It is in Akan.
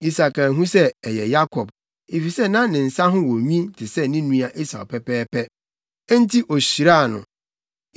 Isak anhu sɛ ɛyɛ Yakob, efisɛ na ne nsa ho wɔ nwi te sɛ ne nua Esau pɛpɛɛpɛ. Enti, ohyiraa no.